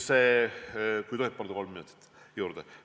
Kas tohib paluda kolm minutit juurde?